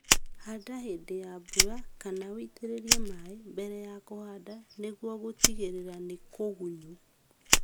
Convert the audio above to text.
Handa hĩndĩ ya mbura kana ũitĩrĩrie maĩĩ mbere ya kũhanda nĩguo gũtigĩrĩra nĩ kũgunyu